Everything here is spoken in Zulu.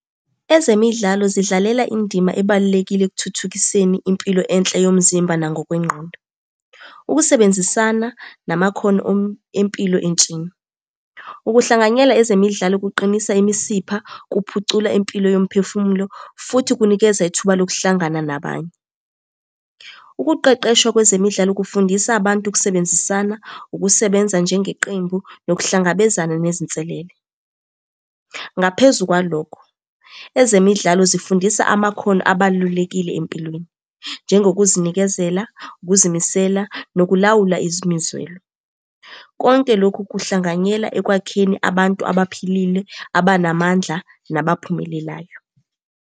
Ezemidlalo zidlalela indima ebalulekile ekuthuthukiseni impilo enhle yomzimba nangokwengqondo. Ukusebenzisana namakhono empilo entsheni. Ukuhlanganyela ezemidlalo kuqinisa imisipha, kuphucula impilo yomphefumulo, futhi kunikeza ithuba lokuhlangana nabanye. Ukuqeqeshwa kwezemidlalo kufundisa abantu ukusebenzisana, ukusebenza njengeqembu nokuhlangabezana nezinselele. Ngaphezu kwalokho, ezemidlalo zifundisa amakhono abalulekile empilweni, njengokuzinikezela, ukuzimisela, nokulawula imizwelo. Konke lokhu kuhlanganyela ekwakheni abantu abaphilile, abanamandla, nabaphumelelayo.